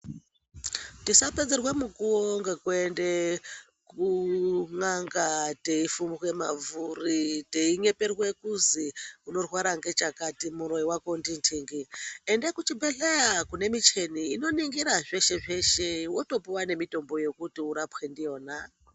Tisa pedzerwa mukuwo ngekuenda kunyanga teifumbwa mabvuri teinyeperwa kuzi unorwara ngechakati muroi wako ndinhingi ,enda kuchibhehleya kunemicheni ino ningira zveshe-zveshe wotopuwa nemitombo yekuti urapwe ndiyona.